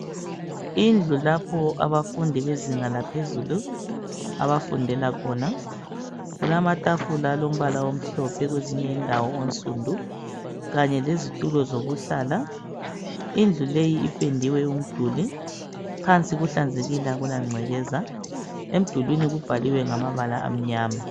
Indlu lapho abafundi bezinga laphezulu abafundela khona kulamatafula alombala amhlophe kwezinye indawo onsundu kanye lezitulo zokuhlala. Indlu leyi ipendiwo umduli, phansi kuhlanzekile akula ngcekeza, emdulini kubhaliwe ngamabala amnyama